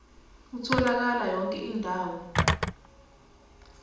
utholakala yonke indawo